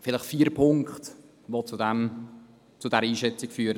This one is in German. Vielleicht vier Punkte, die zu dieser Einschätzung führen: